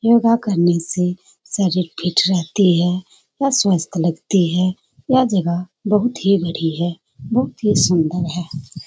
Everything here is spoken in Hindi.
योगा करने से शरीर फिट रहती है और स्वस्थ लगती है यह जगह बहुत ही बड़ी है बहुत ही सुंदर है।